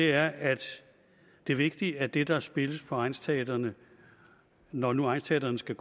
er at det er vigtigt at det der spilles på egnsteatrene når nu egnsteatrene skal